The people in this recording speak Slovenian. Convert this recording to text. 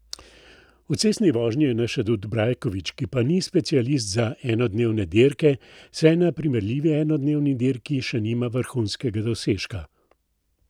V cestni vožnji je naš adut Brajkovič, ki pa ni specialist za enodnevne dirke, saj na primerljivi enodnevni dirki še nima vrhunskega dosežka.